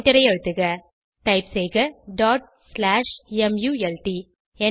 எண்டரை அழுத்துக டைப் செய்க டாட் ஸ்லாஷ் மல்ட்